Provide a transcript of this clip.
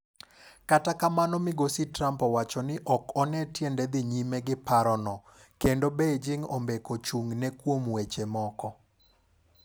Kata kamano migosi Trump owacho ni ok one tiende dhi nyime gi parono, kendo Beijing ombeko chung'ne kuom weche moko.